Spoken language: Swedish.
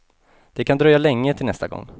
Det kan dröja länge till nästa gång.